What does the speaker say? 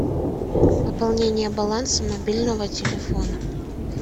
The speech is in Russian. пополнение баланса мобильного телефона